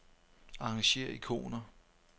Arrangér ikoner.